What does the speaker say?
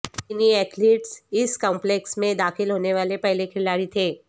چینی ایتھلیٹس اس کمپلیکس میں داخل ہونے والے پہلے کھلاڑی تھے